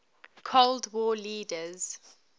cold war leaders